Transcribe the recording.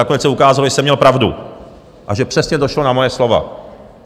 Nakonec se ukázalo, že jsem měl pravdu a že přesně došlo na moje slova.